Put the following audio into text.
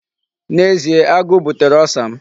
N'ezie, agụụ butere Ulcer m.